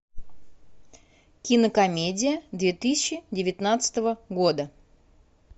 кинокомедия две тысячи девятнадцатого года